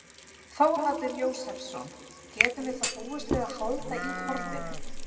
Þórhallur Jósefsson: Getum við þá búist við að halda í horfinu?